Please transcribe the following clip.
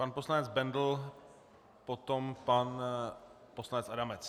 Pan poslance Bendl, potom pan poslanec Adamec.